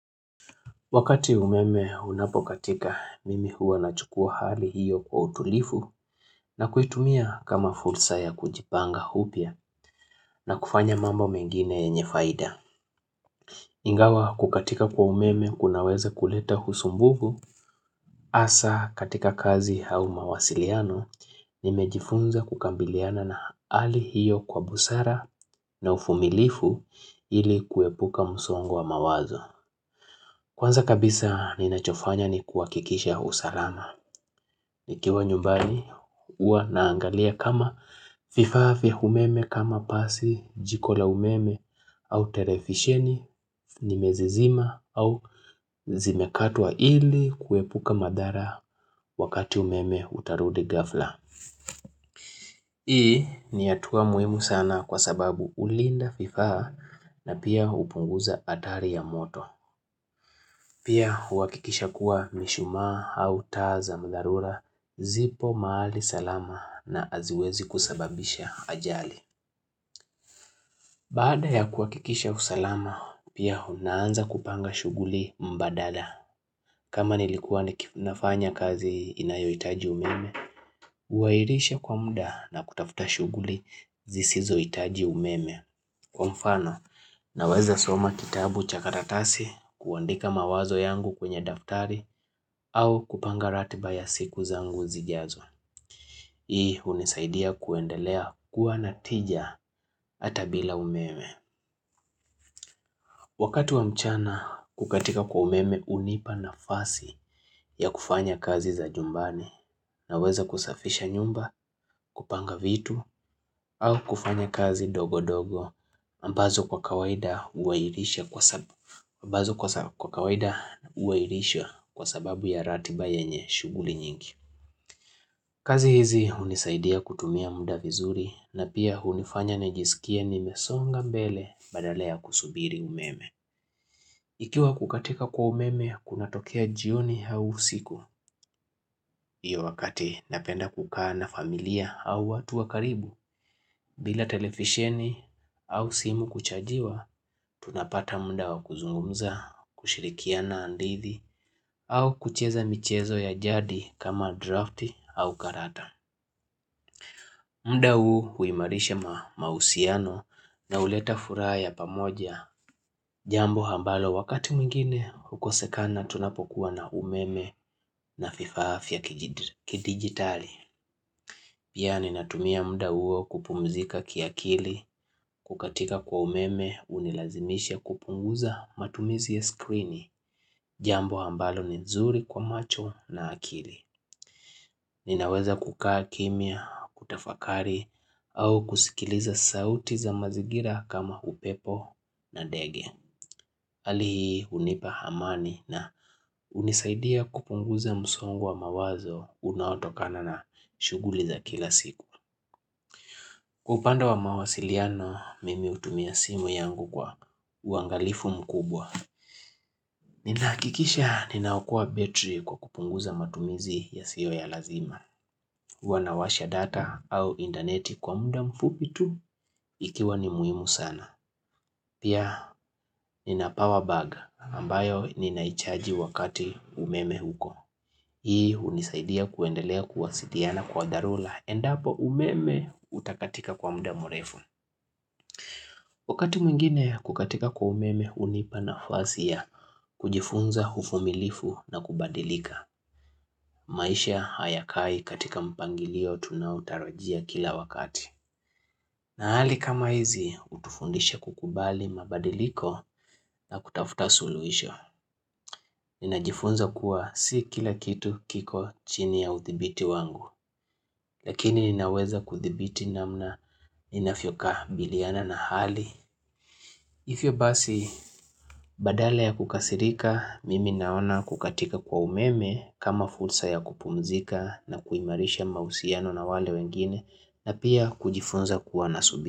Wakati umeme unapokatika mimi huwa na chukua hali hiyo kwa utulivu na kuitumia kama fursa ya kujipanga upya na kufanya mambo mengine yenye faida. Ingawa kukatika kwa umeme kunaweza kuleta usumbufu hasa katika kazi au mawasiliano nimejifunza kukabiliana na hali hiyo kwa busara na uvumilifu ili kuepuka msongo wa mawazo. Kwanza kabisa ninachofanya ni kuhakikisha usalama. Nikiwa nyumbani huwa naangalia kama vifaa, vya umeme kama pasi, jiko la umeme au televisheni, nimezizima au zimekatwa ili kuepuka madhara wakati umeme utarudi ghafla. Hii ni hatua muhimu sana kwa sababu hulinda vifaa na pia hupunguza hatari ya moto. Pia huhakikisha kuwa mishumaa au taa za dharura zipo mahali salama na haziwezi kusababisha ajali. Bada ya kuhakikisha usalama, pia hunaanza kupanga shughuli mbadala. Kama nilikuwa nafanya kazi inayohitaji umeme, huahirisha kwa muda na kutafuta shughuli zisizohitaji umeme. Kwa mfano, naweza soma kitabu cha karatasi kuandika mawazo yangu kwenye daftari au kupanga ratiba ya siku zangu zijazo. Hii hunisaidia kuendelea kuwa na tija hata bila umeme. Wakatu wa mchana, kukatika kwa umeme hunipa nafasi ya kufanya kazi za nyumbani. Naweza kusafisha nyumba, kupanga vitu, au kufanya kazi dogo dogo, ambazo kwa kawaida huhairisha kwa sababu ya ratiba yenye shughuli nyingi. Kazi hizi hunisaidia kutumia muda vizuri na pia hunifanya nijisikie nimesonga mbele badala ya kusubiri umeme. Ikiwa kukatika kwa umeme, kunatokea jioni au usiku. Iyo wakati napenda kukaa na familia au watu wa karibu, bila televisheni au simu kuchajiwa, tunapata muda wa kuzungumza, kushirikia na hadithi, au kucheza michezo ya jadi kama draft au karata. Muda huu huimarisha mahusiano na huleta furaha ya pamoja jambo ambalo wakati mwingine hukosekana tunapokuwa na umeme na vifaa vya kidigitali. Pia ninatumia muda huo kupumzika kiakili kukatika kwa umeme hunilazimisha kupunguza matumizi ya skrini jambo ambalo ni nzuri kwa macho na akili. Ninaweza kukaa kimya, kutafakari au kusikiliza sauti za mazingira kama upepo na ndege hali hii hunipa amani na hunisaidia kupunguza msongo wa mawazo unaotokana na shughuli za kila siku Kwa upande wa mawasiliano mimi hutumia simu yangu kwa uangalifu mkubwa Ninahakikisha ninaokoa betri kwa kupunguza matumizi yasiyo ya lazima Wanawasha data au intaneti kwa muda mfupi tu ikiwa ni muhimu sana. Pia nina power bag ambayo ninaichaji wakati umeme huko. Hii hunisaidia kuendelea kuwasiliana kwa dharura endapo umeme utakatika kwa muda mrefu. Wakati mwingine kukatika kwa umeme hunipa nafasi ya kujifunza uvumilifu na kubadilika. Maisha hayakai katika mpangilio tunaotarajia kila wakati. Hali kama hizi hutufundisha kukubali mabadiliko na kutafuta suluhisho. Ninajifunza kuwa si kila kitu kiko chini ya uthibiti wangu. Lakini ninaweza kuthibiti namna ninavyokabiliana na hali. Hivyo basi badala ya kukasirika, mimi naona kukatika kwa umeme kama fursa ya kupumzika na kuimarisha mahusiano na wale wengine na pia kujifunza kuwa nasubi.